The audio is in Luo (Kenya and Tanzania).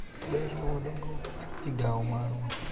ber luwo dongruok mar migawo marwa